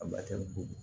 A